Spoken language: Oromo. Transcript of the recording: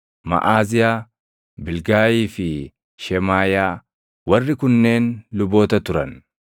Maʼaaziyaa, Bilgaayii fi Shemaaʼiyaa. Warri kunneen luboota turan.